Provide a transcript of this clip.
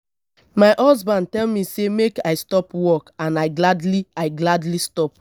my husband tell me say make i stop work and i gladly i gladly stop